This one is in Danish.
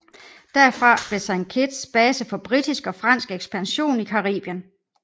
Derfra blev Saint Kitts base for britisk og fransk ekspansion i Karibien